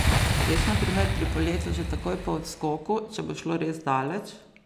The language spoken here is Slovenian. Veš na primer pri poletu že takoj po odskoku, če bo šlo res daleč?